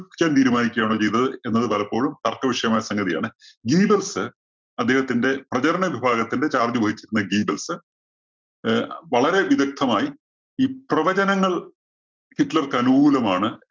യോഗിക്കാൻ തീരുമാനിക്കുകയാണോ ചെയ്തത് എന്നത് പലപ്പോഴും തര്‍ക്കവിഷയമായ സംഗതിയാണ്. ഗീബല്‍സ് അദ്ദേഹത്തിന്റെ പ്രചരണ വിഭാഗത്തിന്റെ charge വഹിച്ചിരുന്ന ഗീബല്‍സ് അഹ് വളരെ വിദഗ്ദ്ധമായി ഈ പ്രവചനങ്ങള്‍ ഹിറ്റ്ലര്‍ക്ക് അനുകൂലമാണ്